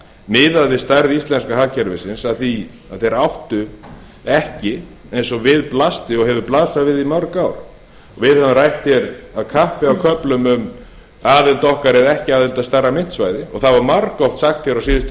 miðað við stærð íslenska hagkerfisins að því að þeir áttu ekki eins og við blasti og hefur blasað við í mörg ár og við höfum rætt hér af kappi á köflum um aðild okkar eða ekki aðild að stærra myntsvæði það var margoft sagt hér á síðustu